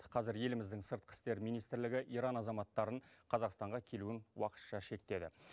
қазір еліміздің сыртқы істер министрлігі иран азаматтарының қазақстанға келуін уақытша шектеді